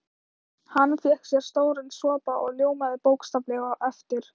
Hann fékk sér stóran sopa og ljómaði bókstaflega á eftir.